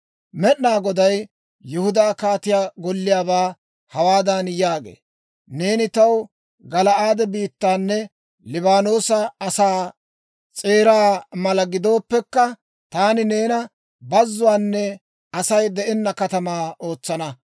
Med'inaa Goday Yihudaa kaatiyaa golliyaabaa hawaadan yaagee; «Neeni taw Gala'aade biittaanne Liibaanoosa asaa s'eeraa mala gidooppekka, taani neena bazzuwaanne Asay de'enna katamaa ootsana.